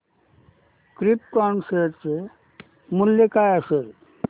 krypton share चे मूल्य काय असेल